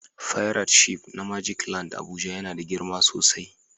fairat shif na " magic land " Abuja yana da girma sosai.